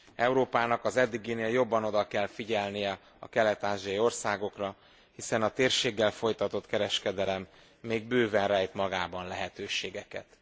Európának az eddiginél jobban oda kell figyelnie a kelet ázsiai országokra, hiszen a térséggel folytatott kereskedelem még bőven rejt magában lehetőségeket.